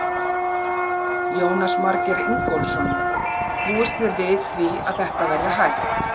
Jónas Margeir Ingólfsson: Búist þið við því að þetta verði hægt?